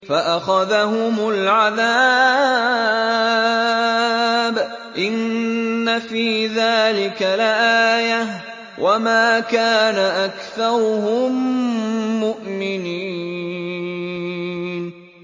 فَأَخَذَهُمُ الْعَذَابُ ۗ إِنَّ فِي ذَٰلِكَ لَآيَةً ۖ وَمَا كَانَ أَكْثَرُهُم مُّؤْمِنِينَ